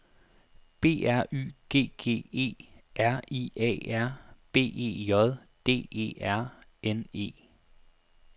B R Y G G E R I A R B E J D E R N E